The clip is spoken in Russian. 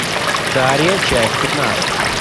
дарья часть пятнадцать